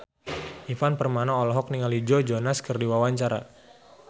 Ivan Permana olohok ningali Joe Jonas keur diwawancara